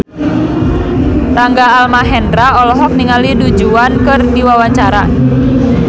Rangga Almahendra olohok ningali Du Juan keur diwawancara